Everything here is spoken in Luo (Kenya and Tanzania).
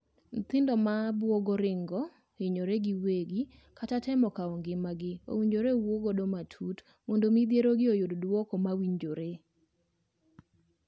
Nyithindo ma buogo ringo, hinyore giwegi, kata temo kwao ngimagi owinjore wuo godo matut mondo midhierogi oyud duoko mowinjore.